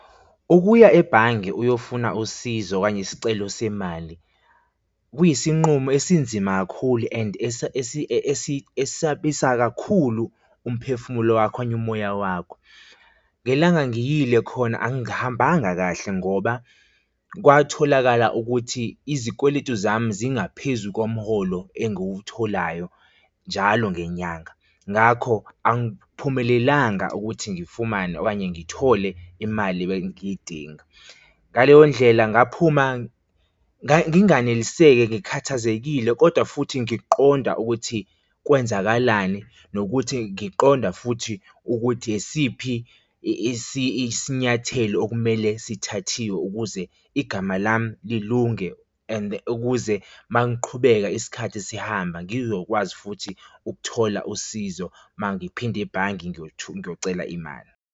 Ukuya ebhange uyofuna usizo kanye isicelo semali kuyisinqumo esinzima kakhulu and esisabisa kakhulu umphefumulo wakhi okanye umoya wakho. Ngelanga ngiyile khona angihambanga kahle ngoba kwatholakala ukuthi izikweletu zami zingaphezu komholo engiwutholayo njalo ngenyanga, ngakho angiphumelelanga ukuthi ngifumane okanye ngithole imali ebengiyidinga. Ngaleyo ndlela ngaphuma nginganeliseki ngikhathazekile, kodwa futhi ngiqonda ukuthi kwenzakalani nokuthi ngiqonda futhi ukuthi yisiphi isinyathelo okumele sithathiwe ukuze igama lami lilunge and ukuze mangiqhubeka isikhathi sihamba, ngizokwazi futhi ukuthola usizo, mangiphinda ebhange ngiyocela imali.